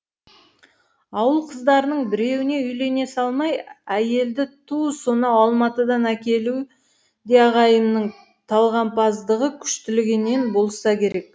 ауыл қыздарының біреуіне үйлене салмай әйелді ту сонау алматыдан әкелуі де ағайымның талғампаздығы күштілігінен болса керек